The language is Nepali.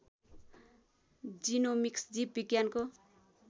जीनोमिक्स जीव विज्ञानको